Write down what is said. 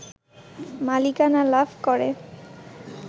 মালিকানা লাভ করে